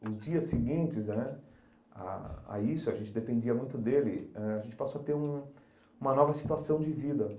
os dias seguintes né a a isso, a gente dependia muito dele, a gente passou a ter um uma nova situação de vida.